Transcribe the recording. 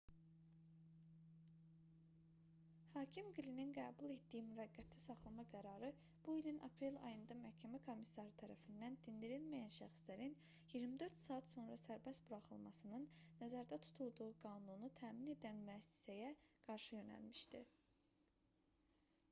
hakim qlinin qəbul etdiyi müvəqqəti saxlama qərarı bu ilin aprel ayında məhkəmə komissarı tərəfindən dindirilməyən şəxslərin 24 saat sonra sərbəst buraxılmasının nəzərdə tutulduğu qanunu təmin edən müəssisəyə qarşı yönəlmişdi